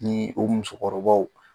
Ni o musokɔrɔbaw.